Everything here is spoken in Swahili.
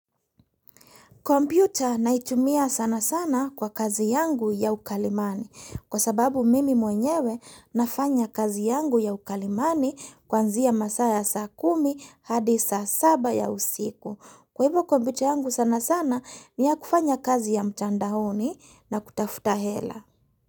Kompiuta naitumia sana sana kwa kazi yangu ya ukalimani kwa sababu mimi mwenyewe nafanya kazi yangu ya ukalimani kwanzia masaa ya saa kumi hadi saa saba ya usiku. Kwa hivyo kompiuta yangu sana sana ni ya kufanya kazi ya mtandaoni na kutafuta hela.